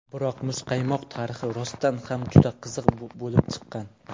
Biroq muzqaymoq tarixi rostdan ham juda qiziq bo‘lib chiqqan.